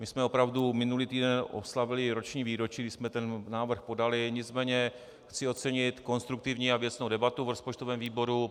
My jsme opravdu minulý týden oslavili roční výročí, kdy jsme ten návrh podali, nicméně chci ocenit konstruktivní a věcnou debatu v rozpočtovém výboru.